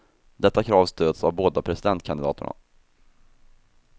Detta krav stöds av båda presidentkandidaterna.